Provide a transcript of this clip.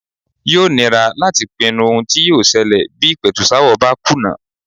Yóò nira láti pinnu ohun tí yóò ṣẹlẹ̀ bí ìpẹ̀tùsááwọ̀ bá kùnà.